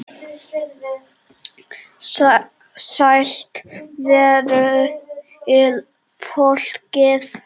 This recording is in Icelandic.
Sælt veri fólkið!